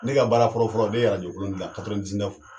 Ne ka baara fɔlɔfɔlɔ ne ye yɛrɛ arajo kolon dilan